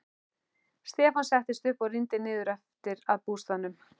Stefán settist upp og rýndi niður eftir að bústaðnum.